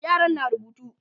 yaran na rubutu